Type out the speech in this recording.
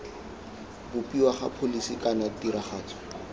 bopiwa ga pholisi kana tiragatso